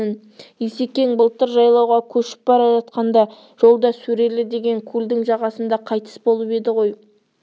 есекең былтыр жайлауға кешіп бара жатқанда жолда сөрелі деген көлдің жағасында қайтыс болып еді ғой